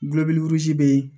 bɛ yen